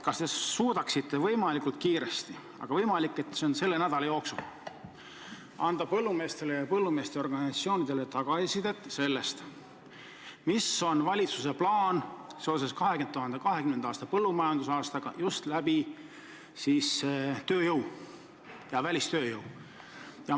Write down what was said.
Kas te suudaksite võimalikult kiiresti, aga võimalik, et selle nädala jooksul, anda põllumeestele ja põllumeeste organisatsioonidele tagasisidet, mis on valitsuse plaan seoses 2020. aasta põllumajandusaastaga just tööjõu ja välistööjõu mõttes?